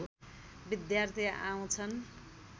विद्यार्थी आउँछन्